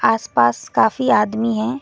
आस पास काफी आदमी है।